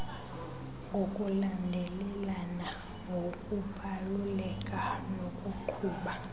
ngokulandelelana ngokubaluleka nokuqhuba